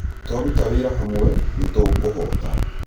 Twaruta wĩra hamwe, nĩ tũkũhota